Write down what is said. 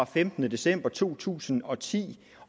femtende december to tusind og ti